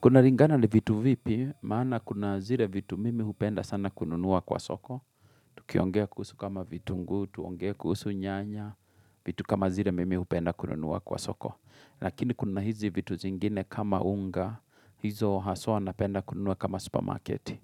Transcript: Kuna ringana ni vitu vipi, maana kuna zire vitu mimi hupenda sana kununua kwa soko. Tukiongea kusu kama vitungu, tuongea kuhusu nyanya, vitu kama zire mimi upenda kununua kwa soko. Lakini kuna hizi vitu zingine kama unga, hizo haswa napenda kununua kama supermarketi.